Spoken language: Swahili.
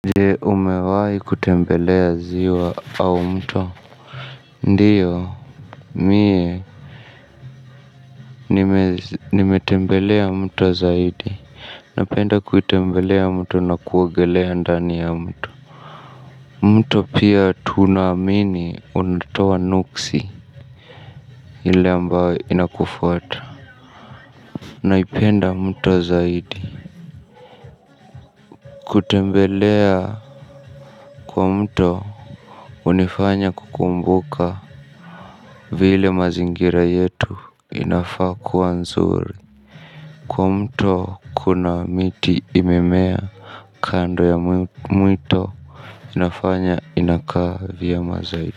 Je, umewahi kutembelea ziwa au mto? Ndiyo mie nimetembelea mto zaidi. Napenda kuitembelea mto na kuogelea ndani ya mto. Mto pia tunaamini unatoa nuksi ile ambayo inakufuata. Naipenda mto zaidi. Kutembelea kwa mto hunifanya kukumbuka vile mazingira yetu inafaa kuwa nzuri, kwa mto kuna miti imemea kando ya mwito inafanya inakaa vyema zaidi.